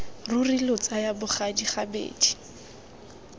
ruri lo tsaya bogadi gabedi